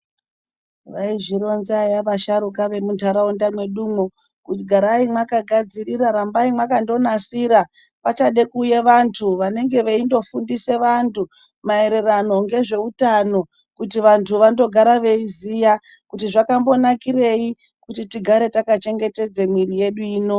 Vaizvironza eya vasharuka vemunharaunda mwedumwo, kuti garai mwakagadzirira rambai mwakandonasira pachada kuuye vantu vanenge veindofundisa vantu maererano ngezveutano kuti vantu vandogara veiziya kuti zvakambonakirei kuti tigare takachengetedza mwiri yedu ino.